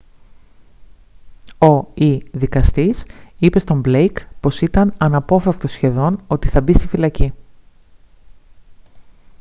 ο/η δικαστής είπε στον blake πως ήταν «αναπόφευκτο σχεδόν» ότι θα μπει στη φυλακή